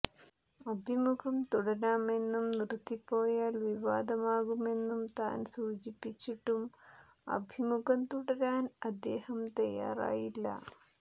അഭിമുഖം തുടരാമെന്നും നിർത്തിപോയാൽ വിവാദമാകുമെന്നും താൻ സൂചിപ്പിച്ചിട്ടും അഭിമുഖം തുടരാൻ അദ്ദേഹം തയാറായില്ല